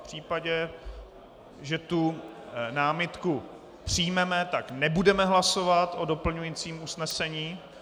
V případě, že tu námitku přijmeme, tak nebudeme hlasovat o doplňujícím usnesení.